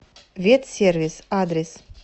ветсервис адрес